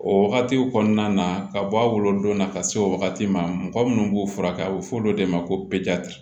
O wagatiw kɔnɔna na ka bɔ a wolodon na ka se o wagati ma mɔgɔ minnu b'u furakɛ a bɛ fɔ o de ma ko